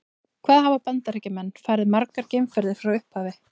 Hvað hafa Bandaríkjamenn farið margar geimferðir frá upphafi?